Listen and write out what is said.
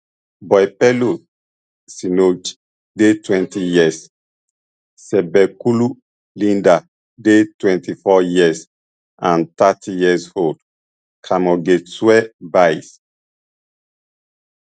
boipelo senoge dey twenty years cebekhulu linda dey twenty-four years and thirty yearold keamogetswe buys